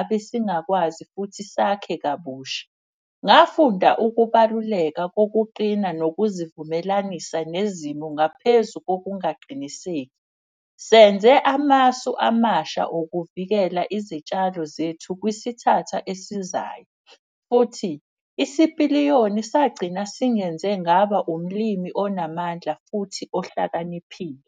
Abesingakwazi futhi sakhe kabusha. Ngafunda ukubaluleka kokuqina nokuzivumelanisa nezimo ngaphezu kokungaqiniseki. Senze amasu amasha okuvikela izitshalo zethu kwisithatha esizayo. Futhi isipiliyoni sagcina singenze ngaba umlimi onamandla futhi ohlakaniphile.